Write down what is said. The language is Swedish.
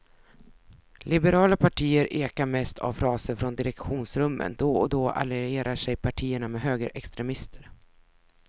Liberala partier ekar mest av fraser från direktionsrummen, då och då allierar sig partierna med högerextremister.